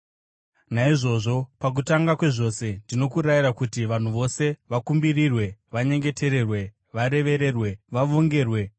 Naizvozvo, pakutanga kwezvose, ndinokurayirai kuti vanhu vose vakumbirirwe, vanyengetererwe, varevererwe, vavongerwe,